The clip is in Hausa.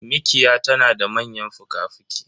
Mikiya tanada manyan fuka fuki